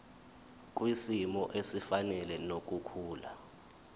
kwisimo esifanele nokukhula